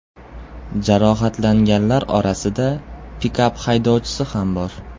Jarohatlanganlar orasida pikap haydovchisi ham bor.